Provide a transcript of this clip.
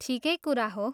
ठिकै कुरा हो।